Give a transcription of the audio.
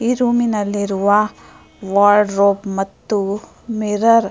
ಈ ರೂಮ್ ನಲ್ಲಿರುವ ವಾರ್ಡ್ರೋಬ್ ಮತ್ತು ಮಿರರ್ --